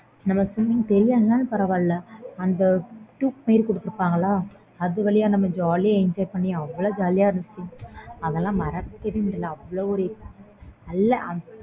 நம்ம swimming தெரியலானாலும் பரவாயில்ல அது வழியா நம்ம jolly யா enjoy பண்ணி அவ்ளோ jolly யா இருந்துச்சு அதெல்லாம் மறக்கவே முடியல அவ்ளோ ஒரு நல்ல